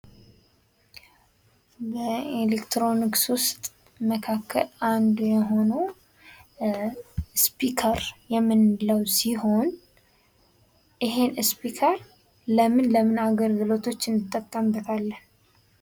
ኤሌክትሮኒክስ መካከል አንዱ የሆነው ስፒከር የምንለው ሲሆን ይህን ስፒከር ለምን ለምን አገልግሎቶች እንጠቀምበታለን?